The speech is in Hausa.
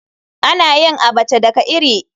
Ana yin Abacha daga iri.